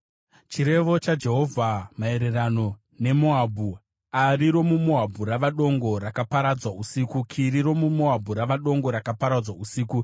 Chirevo chaJehovha maererano neMoabhu: Ari romuMoabhu rava dongo, rakaparadzwa usiku! Kiri romuMoabhu rava dongo, rakaparadzwa usiku!